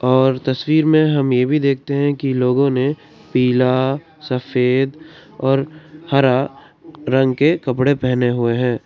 और तस्वीर में हम ये भी देखते हैं कि लोगों ने पीला सफेद और हरा रंग के कपड़े पहने हुए हैं।